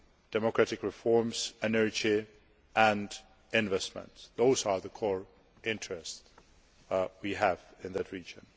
Democratic reforms, energy and investments those are the core interests we have in that region.